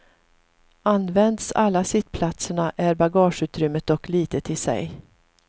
Används alla sittplatserna är bagageutrymmet dock litet i sig.